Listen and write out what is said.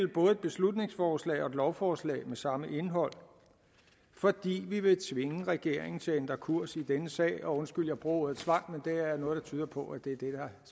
både et beslutningsforslag og et lovforslag med samme indhold fordi vi vil tvinge regeringen til at ændre kurs i denne sag undskyld jeg bruger ordet tvang men der er noget der tyder på at det er